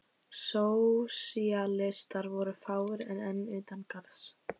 Sósíalistar voru fáir og enn utan garðs.